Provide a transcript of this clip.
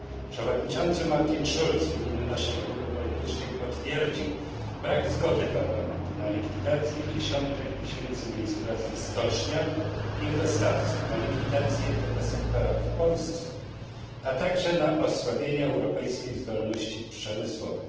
Przewodniczący Martin Schulz w imieniu naszej grupy politycznej potwierdził brak zgody Parlamentu na likwidację dziesiątek tysięcy miejsc pracy w stoczniach i u ich dostawców, na likwidację tego sektora w Polsce, a także na osłabienie europejskiej zdolności przemysłowej.